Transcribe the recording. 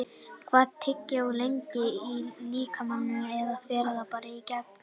Hvað er tyggjó lengi í líkamanum eða fer það bara í gegn?